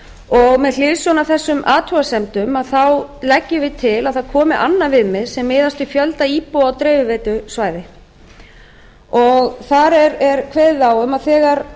og með hliðsjón af þessum athugasemdum leggjum við til að það komi annað viðmið sem miðast við fjölda íbúa á dreifiveitusvæði þar er kveðið á um að þegar